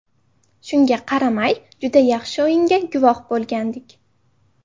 Shunga qaramay, juda yaxshi o‘yinga guvoh bo‘lgandik.